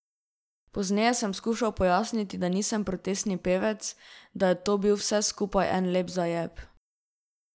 Pozneje sem skušal pojasniti, da nisem protestni pevec, da je to bil vse skupaj en lep zajeb.